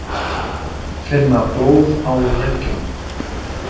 Finna blóð á leggjunum.